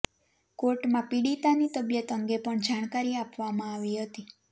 કોર્ટમાં પીડિતાની તબીયત અંગે પણ જાણકારી આપવામાં આવી હતી